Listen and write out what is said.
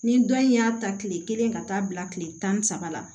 Ni dɔn in y'a ta kile kelen ka taa bila kile tan ni saba la